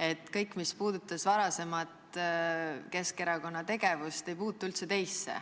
ja kõik, mis puudutab varasemat Keskerakonna tegevust, ei puutu üldse teisse.